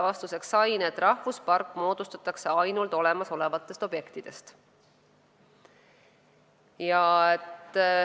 Vastuseks sain, et rahvuspark moodustatakse ainult olemasolevatest objektidest.